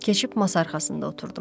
Keçib masa arxasında oturdum.